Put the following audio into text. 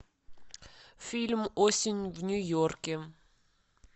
фильм осень в нью йорке